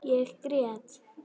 Ég grét.